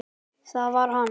Það var hann!